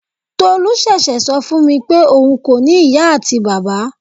Tolu sese sọ fún mi pé òun kò ní ìyá àti bàbá.